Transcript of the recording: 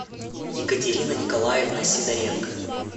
екатерина николаевна сидоренко